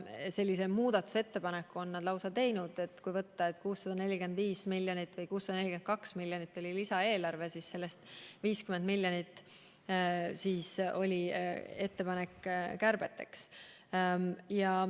Sellise muudatusettepaneku on nad lausa teinud, et kui 645 või 642 miljonit eurot oli lisaeelarve, siis sellest 50 miljonit oli ettepanek kärbeteks.